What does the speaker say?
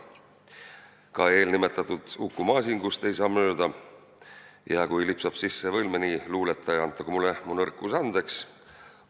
Ka eelnimetatud Uku Masingust ei saa mööda ja kui lipsab sisse veel mõni luuletaja, antagu mulle mu nõrkus andeks.